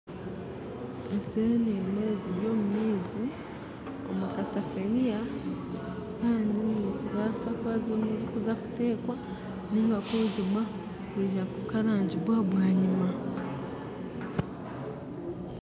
Eseenene ziri omu maizi omu kasafuuriya kandi nizibaasa kuba zirimu nizizakuteekwa niga kwongibwa kwija kukarangibwa bwanyima